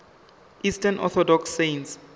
eastern orthodox saints